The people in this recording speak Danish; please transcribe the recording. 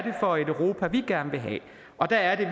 er for et europa vi gerne vil have og der er det